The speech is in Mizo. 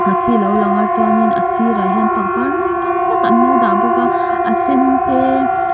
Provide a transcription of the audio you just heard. a thi lo lang a chuanin a sir a hian pangpar mawi tak tak an lo dah bawk a a sen te a--